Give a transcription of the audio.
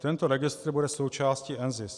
Tento registr bude součástí NZIS.